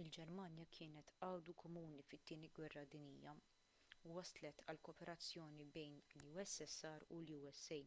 il-ġermanja kienet għadu komuni fit-tieni gwerra dinjija u wasslet għal kooperazzjoni bejn il-ussr u l-usa